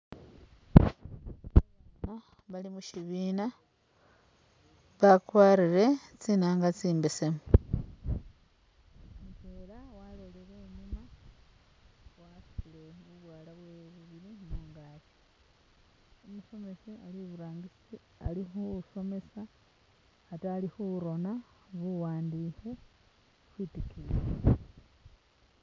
Ba bana bali mushibiina ba kwarire tsinanga tsi mbesemu mutwela walolele inyuma wasutile bubwala bwewe bubili mungakyi, umusomesa ali iburangisi ali khu somesa ate ali khu rona bu wandikhe khwitikiyi.